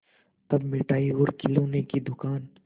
तब मिठाई और खिलौने की दुकान